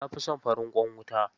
Na fi son farin ƙwan wuta.